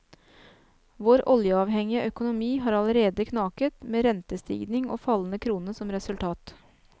Vår oljeavhengige økonomi har allerede knaket, med rentestigning og fallende krone som resultat.